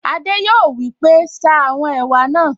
Adé yòó wí pé, 'ṣa àwọn ẹ̀wà náà'